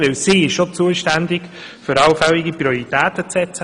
Denn sie ist dafür zuständig, allfällige Prioritäten zu setzen.